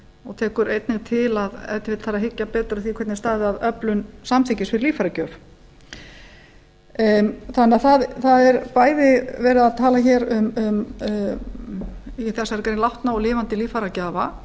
og tekur einnig til að ef til vill þarf að hyggja betur að því hvernig stæði á öflun samþykkis við líffæragjöf það er bæði verið að tala um í þessari grein um látna og lifandi líffæragjafa